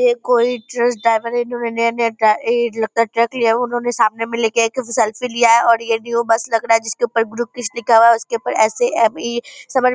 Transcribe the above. ये कोई truck driver है इन्होने नया-नया ड्रा इ लगता है ट्रक लिया है उन्होंने सामने में लेके एक सेल्फी लिया है और ये बस लग रहा है जिसके ऊपर ग्रुप लिखा हुआ है उसके ऊपर एस.ए.एम.इ.